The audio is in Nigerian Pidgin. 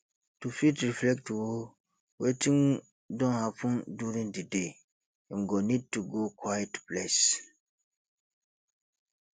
to fit reflect o wetin don happen during di day im go need to go quiet place